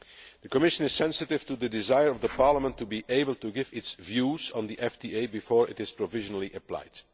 The Commission is sensitive to the desire of Parliament to be able to give its views on the FTA before it is provisionally applied.